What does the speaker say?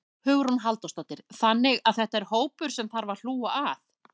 Hugrún Halldórsdóttir: Þannig að þetta er hópur sem að þarf að hlúa að?